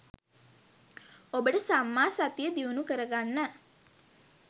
ඔබට සම්මා සතිය දියුණු කරගන්න